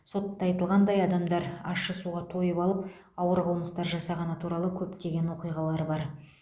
сотта айтылғандай адамдар ащы суға тойып алып ауыр қылмыстар жасағаны туралы көптеген оқиғалар бар